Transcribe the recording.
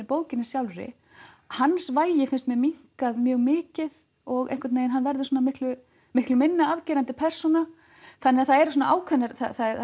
bókinni sjálfri hans vægi fannst mér minnkað mjög mikið og hann verður miklu miklu minna afgerandi persóna þannig að það eru ákveðnar